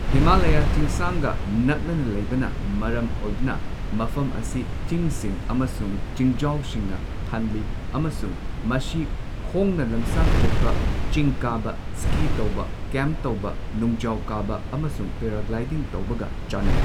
ꯍꯤꯃꯥꯂꯌꯥ ꯆꯤꯡꯁꯥꯡꯒ ꯅꯛꯅꯅ ꯂꯩꯕꯅ ꯃꯔꯝ ꯑꯣꯏꯗꯨꯅ ꯃꯐꯝ ꯑꯁꯤ ꯆꯤꯡꯁꯤꯡ ꯑꯃꯁꯨꯡ ꯆꯤꯡꯁꯥꯡꯒ ꯊꯜꯂꯤ ꯑꯃꯁꯨꯡ ꯃꯁꯤ ꯈꯣꯡꯅ ꯂꯝꯁꯥꯡ ꯆꯠꯄ, ꯆꯤꯡ ꯀꯥꯕ, ꯁ꯭ꯀꯤ ꯇꯧꯕ, ꯀꯦꯝꯞ ꯇꯧꯕ, ꯅꯨꯡꯖꯥꯎ ꯀꯥꯕ, ꯑꯃꯁꯨꯡ ꯄꯦꯔꯥꯒ꯭ꯂꯥꯏꯗꯤꯡ ꯇꯧꯕꯒ ꯆꯥꯟꯅꯩ꯫